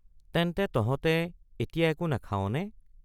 তেন্তে তহঁতে এতিয়া একো নাখাৱনে?